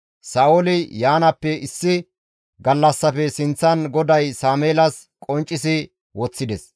Sa7ooli yaanaappe issi gallassafe sinththan GODAY Sameelas qonccisi woththides.